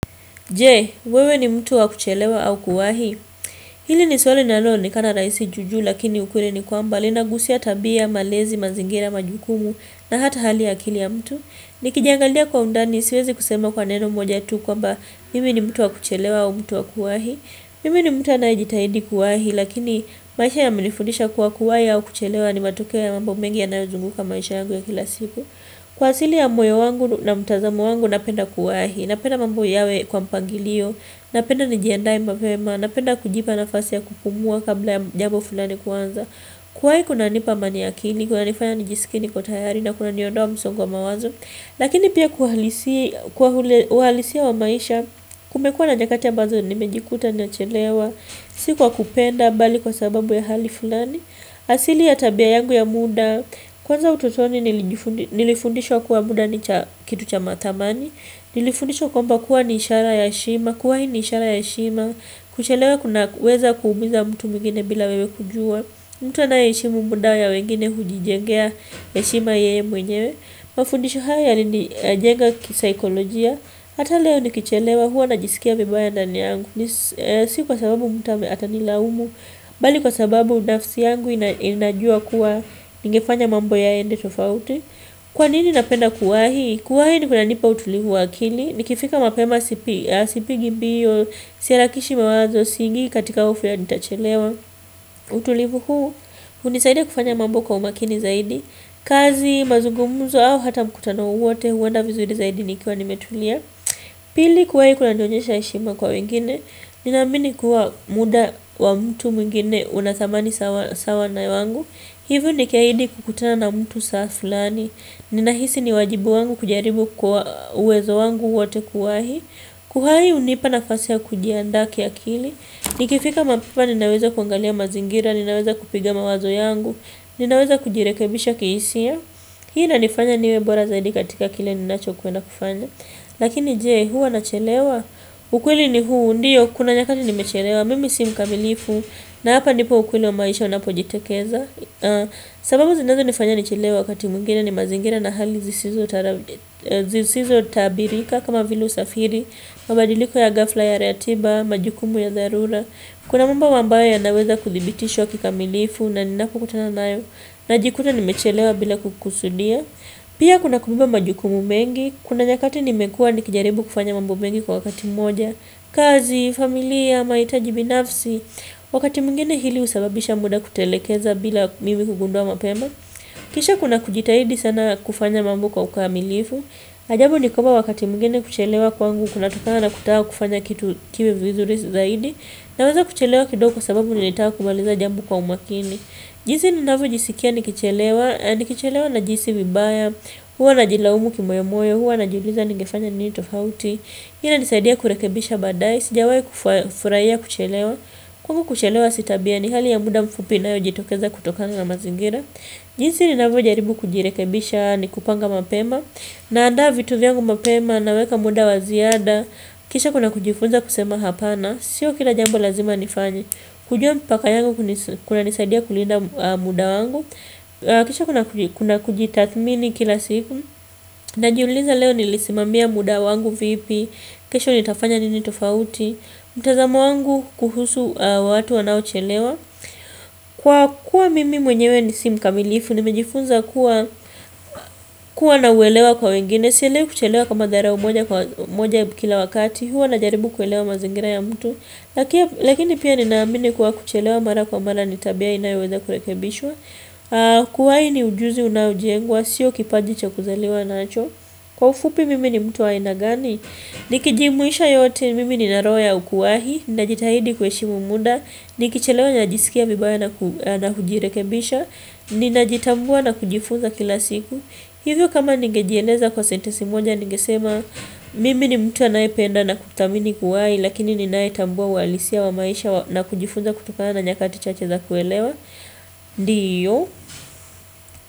Je, wewe ni mtu wa kuchelewa au kuwahi. Hili ni swali linalonekana rahisi juu juu lakini ukweli ni kwamba linagusia tabia, malezi, mazingira, majukumu na hata hali ya akili ya mtu. Nikijiangalia kwa undani, siwezi kusema kwa neno moja tu kwamba mimi ni mtu wa kuchelewa au mtu wa kuwahi. Mimi ni mtu anayejitahidi kuwahi lakini maisha yamenifundisha kuwa kuwahi au kuchelewa ni matokeo ya mambo mengi yanayozunguka maisha yangu ya kila siku. Kwa asili ya moyo wangu na mtazamo wangu napenda kuwahi, napenda mambo yawe kwa mpangilio, napenda nijiandae mapema, napenda kujipa nafasi ya kupumua kabla ya jambo fulani kuanza Kuwahi kunanipa amani ya akili, kunanifanya nijisikie niko tayari na kunaniondoa msongo wa mawazo Lakini pia kwa uhalisia wa maisha kumekuwa na nykati ambazo nimejikuta nachelewa, si kwa kupenda bali kwa sababu ya hali fulani asili ya tabia yangu ya muda Kwanza ututoni nilifundishwa kuwa muda ni kitu cha thamani Nilifundishwa kwamba kuwa ni ishara ya heshima Kuwahi ni ishara ya heshima kuchelewa kunaweza kuumiza mtu mwingine bila wewe kujua mtu anaye heshimu muda ya wengine hujijengea heshima yeye mwenyewe Mafundisho haya yalinijenga kisaikolojia Hata leo nikichelewa huwa najisikia vibaya ndani yangu Si kwa sababu mtu ata nilaumu bali kwa sababu nafsi yangu inajua kuwa ningefanya mambo yaende tofauti kwa nini napenda kuwahi kuwahi kunanipa utulivu wa akili nikifika mapema sipigi mbio siharakishi mawazo siingii katika hofu ya nitachelewa utulivu huu hunisaida kufanya mambo kwa umakini zaidi kazi, mazungumuzo au hata mkutano wowote huenda vizuri zaidi nikiwa nimetulia pili kuwahi kunanionyesha heshima kwa wengine nina amini kuwa muda wa mtu mwingine una thamani sawa na wangu, hivyo nikiahidi kukutana na mtu saa fulani Ninahisi ni wajibu wangu kujaribu kwa uwezo wangu wote kuwahi Kuwahi hunipa nafasi ya kujiandaa kiakili Nikifika mapema ninaweza kuangalia mazingira Ninaweza kupiga mawazo yangu Ninaweza kujirekebisha kihisia Hii inanifanya niwe bora zaidi katika kile ninacho kwenda kufanya Lakini je huwa nachelewa ukweli ni huu ndiyo kuna nyakati nimechelewa mimi si mkamilifu na hapa ndipo ukweli wa maisha unapojitekeza sababu zinazonifanya nichelewe wakati mwingine ni mazingira na hali zisizo tabirika kama vile usafiri mabadiliko ya ghafla ya ratiba, majukumu ya dharura Kuna mambo ambayo yanaweza kuthibitishiwa kikamilifu na ninapokutana nayo Najikuta nimechelewa bila kukusudia Pia kuna kubeba majukumu mengi, kuna nyakati nimekuwa nikijaribu kufanya mambo mengi kwa wakati moja, kazi, familia, mahitaji binafsi, wakati mwingine hili husababisha muda kutelekeza bila mimi kugundua mapema. Kisha kuna kujitahidi sana kufanya mambo kwa ukamilifu, ajabu ni kwamba wakati mwingine kuchelewa kwangu kunatokana na kutaka kufanya kitu kiwe vizuri zaidi, naweza kuchelewa kidogo kwa sababu nilitaka kumaliza jamo kwa umakini. Jinsi ninavo jisikia nikichelewa, nikichelewa najihisi vibaya, huwa najilaumu kimoyomoyo, huwa najiuliza ningefanya nini tofauti ina nisaidia kurekebisha badae, sijawahi kufurahia kuchelewa, huku kuchelewa si tabia ni hali ya muda mfupi inayojitokeza kutokana na mazingira jinsi ninavyo jaribu kujirekebisha ni kupanga mapema, na andaa vitu vyangu mapema, na weka muda wa ziada Kisha kuna kujifunza kusema hapana Sio kila jambo lazima nifanye kujua mpaka yangu kunanisaidia kulinda muda wangu Kisha kuna kujitathmini kila siku Najiuliza leo nilisimamia muda wangu vipi kesho nitafanya nini tofauti mtazamo wangu kuhusu watu wanaochelewa Kwa kuwa mimi mwenyewe nisi mkamilifu Nimejifunza kuwa nauelewa kwa wengine Sielewi kuchelewa kama dharau moja kila wakati huwa najaribu kuelewa mazingira ya mtu lakini pia ninaamini kuwa kuchelewa mara kwa mara ni tabia inayoweza kurekebishwa kuwahi ni ujuzi unaojengwa sio kipaji cha kuzaliwa nacho kwa ufupi mimi ni mtu wa aina gani? Nikijumuisha yote mimi nina roho ukuwahi ninajitahidi kuheshimu muda nikichelewa ninajisikia vibaya na kujirekebisha ninajitambua na kujifunza kila siku hivyo kama ningejieleza nea kwa sentisi moja Nigesema mimi ni mtu anayependa na kuthamini kuwai Lakini ninaye tambua uhalisia wa maisha na kujifunza kutokana na nyakati chache za kuelewa Ndiyo.